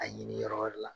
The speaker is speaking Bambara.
A ɲini yɔrɔ wɛrɛ la